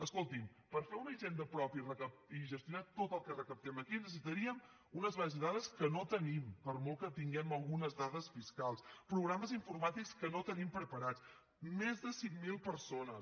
escolti’m per fer una hisenda pròpia i gestionar tot el que recaptem aquí necessitaríem unes bases de dades que no tenim per molt que tinguem algunes dades fiscals programes informàtics que no tenim preparats més de cinc mil persones